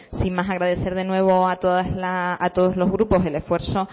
sin más agradecer de nuevo a todos los grupos el esfuerzo